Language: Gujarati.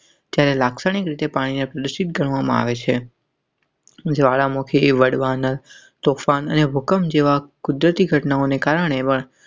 તેને લાક્ષણિક રીતે પાણીના કૃષિ ગણવામાં આવે છે. જવાળામુખી વડવા ને સુ ખાન અને ભૂકંપ જેવા કુદરતી ઘટનાઓને કારણે.